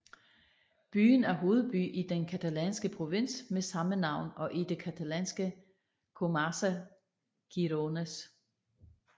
Byen er hovedby i den catalanske provins med samme navn og i det catalanske comarca Gironès